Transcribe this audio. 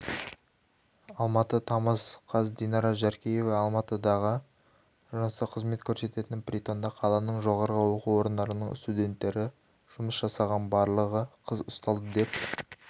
алматы тамыз қаз динара жаркеева алматыдағы жыныстық қызмет көрсететін притонда қаланың жоғары оқу орындарының студенттері жұмыс жасаған барлығы қыз ұсталды деп